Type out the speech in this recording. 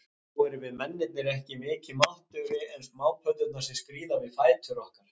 Þá erum við mennirnir ekki mikið máttugri en smápöddurnar, sem skríða um við fætur okkar.